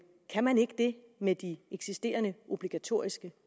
kan man ikke det med de eksisterende obligatoriske